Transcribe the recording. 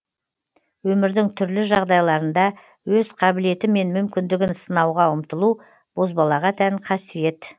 өмірдің түрлі жағдайларында өз қабілеті мен мүмкіндігін сынауға ұмтылу бозбалаға тән қасиет